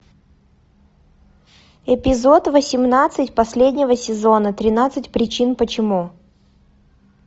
эпизод восемнадцать последнего сезона тринадцать причин почему